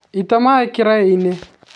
ĩta maĩ kĩraĩ-inĩ